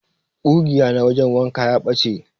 ƙugiya na wajen wanka ya ɓache.